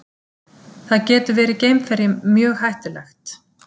Það getur verið geimferjum mjög hættulegt.